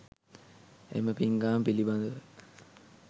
එම පිංකම පිළිබඳව